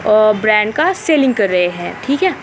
और ब्रैंड का सेलिंग कर रहे है ठीक है।